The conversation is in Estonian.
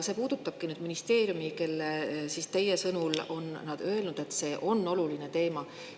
See puudutab nüüd ministeeriumi, kes teie sõnul on öelnud, et see on oluline teema.